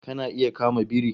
Kana iya kama biri?